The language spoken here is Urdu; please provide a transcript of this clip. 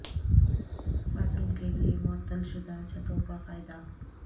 باتھ روم کے لئے معطل شدہ چھتوں کا فائدہ